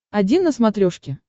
один на смотрешке